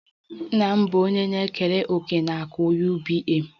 Nna m bụ onye na-ekere òkè na akụ UBA